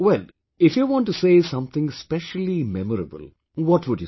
Well, if you want to say something specially memorable, what would you say